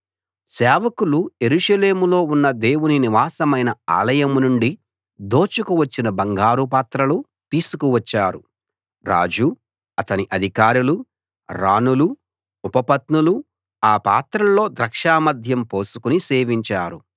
సేవకులు యెరూషలేములో ఉన్న దేవుని నివాసమైన ఆలయం నుండి దోచుకువచ్చిన బంగారు పాత్రలు తీసుకువచ్చారు రాజు అతని అధికారులు రాణులు ఉపపత్నులు ఆ పాత్రల్లో ద్రాక్ష మద్యం పోసుకుని సేవించారు